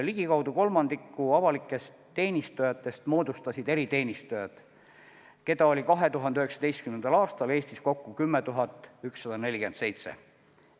Ligikaudu kolmandiku avalikest teenistujatest moodustasid eriteenistujad, keda oli 2019. aastal Eestis kokku 10 147.